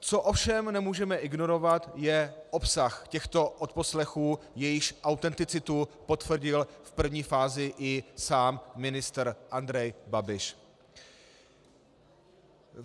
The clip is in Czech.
Co ovšem nemůžeme ignorovat, je obsah těchto odposlechů, jejichž autenticitu potvrdil v první fázi i sám ministr Andrej Babiš.